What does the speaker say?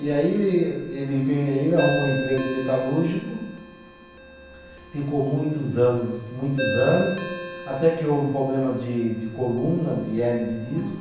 E aí ele que, e aí ele arrumou um emprego de metalúrgico, ficou muitos anos, muitos anos, até que houve um problema de de coluna, de hérnia de disco.